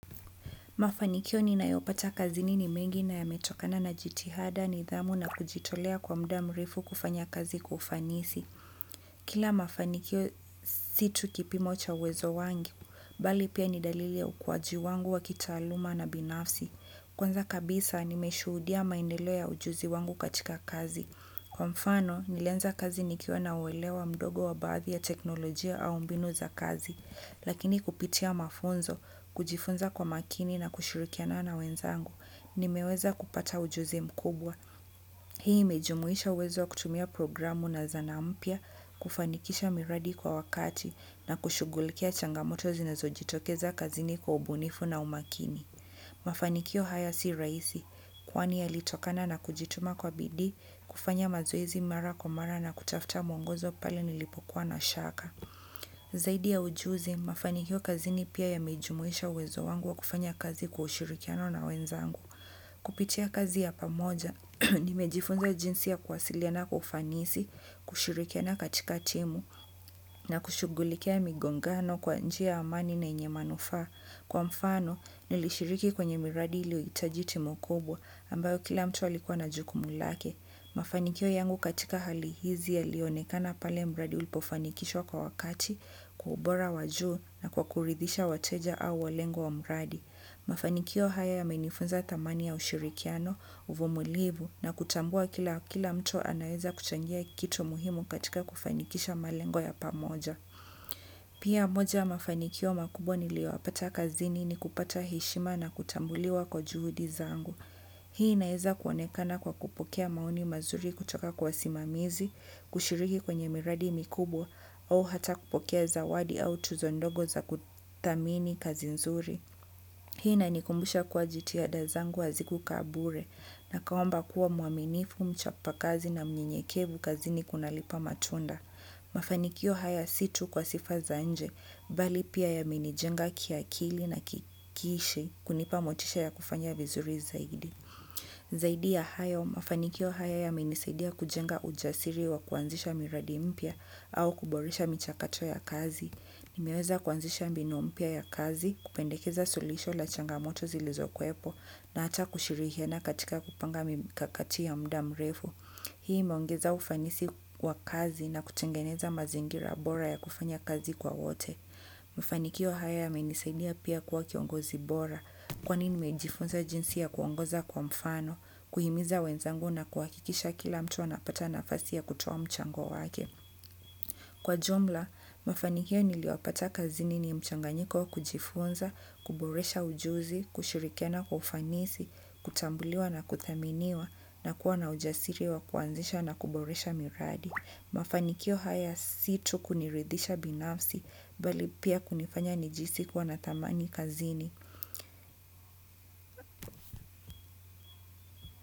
Mafanikio ninayopata kazini ni mengi na yametokana na jitihada nidhamu na kujitolea kwa muda mrefu kufanya kazi kwa ufanisi. Kila mafanikio si tu kipimo cha uwezo wangu, bali pia ni dalili ya ukuwaji wangu wa kitaaluma na binafsi. Kwanza kabisa nimeshuhudia maendelo ya ujuzi wangu katika kazi. Kwa mfano, nilianza kazi nikiwa na uwelewa mdogo wa baadhi ya teknolojia au mbinu za kazi. Lakini kupitia mafunzo, kujifunza kwa makini na kushirikiana na wenzangu, nimeweza kupata ujuzi mkubwa. Hii imejumuisha uwezo wa kutumia programu na zana mpya, kufanikisha miradi kwa wakati, na kushugulikia changamoto zinazojitokeza kazini kwa ubunifu na umakini. Mafanikio haya si rahisi, kwani yalitokana na kujituma kwa bidii, kufanya mazoezi mara kwa mara na kutafuta mwongozo pale nilipokuwa na shaka. Zaidi ya ujuzi, mafanikio kazini pia yamejumuisha uwezo wangu wa kufanya kazi kwa ushirikiano na wenzangu. Kupitia kazi ya pamoja, nimejifunza jinsi ya kuwasiliana kwa ufanisi, kushirikiana katika timu, na kushugulikia migongano kwa njia ya amani na yenye manufaa. Kwa mfano nilishiriki kwenye miradi iliyohitahi team kubwa ambayo kila mtu alikuwa na jukumu lake. Mafanikio yangu katika hali hizi yalionekana pale mradi ulipofanikishwa kwa wakati kwa ubora wa juu na kwa kuridhisha wateja au walengo wa mradi. Mafanikio haya yamenifunza thamani ya ushirikiano, uvumilivu na kutambua kila mtu anaeza kuchangia kitu muhimu katika kufanikisha malengo ya pamoja. Pia moja ya mafanikio makubwa niliyoyapata kazini ni kupata heshima na kutambuliwa kwa juhudi zangu. Hii inaeza kuonekana kwa kupokea maoni mazuri kutoka kwa wasimamizi, kushiriki kwenye miradi mikubwa au hata kupokea zawadi au tuzo ndogo za kuthamini kazi nzuri. Hii inanikumbusha kuwa jitihada zangu hazikukaa bure na akaomba kuwa mwaminifu mchapa kazi na mnyenyekevu kazini kunalipa matunda. Mafanikio haya si tu kwa sifa za nje, bali pia yaminijenga kiakili na kikishe kunipa motisha ya kufanya vizuri zaidi. Zaidi ya hayo, mafanikio haya yamenisaidia kujenga ujasiri wa kuanzisha miradi mpya au kuboresha michakacho ya kazi. Nimeweza kuanzisha mbinu mpya ya kazi, kupendekeza sulisho la changamoto zilizokuwepo na hata kushirikiana katika kupanga mikakati ya muda mrefu. Hii imeongeza ufanisi wa kazi na kutengeneza mazingira bora ya kufanya kazi kwa wote. Mafanikio haya yamenisaidia pia kuwa kiongozi bora kwani nimejifunza jinsi ya kuongoza kwa mfano kuhimiza wenzangu na kuhakikisha kila mtu anapata nafasi ya kutoa mchango wake. Kwa jumla, mafanikio niliyoyapata kazini ni mchanganyiko kujifunza kuboresha ujuzi, kushirikena kwa ufanisi, kutambuliwa na kuthaminiwa na kuwa na ujasiri wa kuanzisha na kuboresha miradi. Mafanikio hata si tu kuniridisha binafsi bali pia kunifanya nijihisi kuwa na thamani kazini.